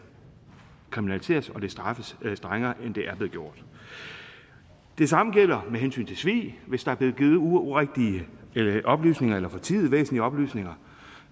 kriminaliseres og straffes strengere end det er blevet gjort det samme gælder med hensyn til svig hvis der er blevet givet urigtige oplysninger eller fortiet væsentlige oplysninger